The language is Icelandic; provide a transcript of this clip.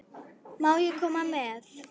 Má ég koma með?